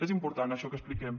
és important això que expliquem